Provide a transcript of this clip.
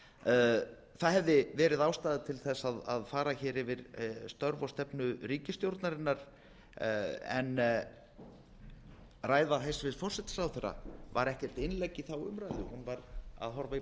því það hefði verið ástæða til að fara yfir störf og stefnu ríkisstjórnarinnar en ræða hæstvirtur forsætisráðherra var ekkert innlegg í þá umræðu hún var að horfa í